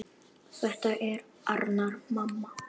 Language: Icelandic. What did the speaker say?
Þetta er Arnar, mamma!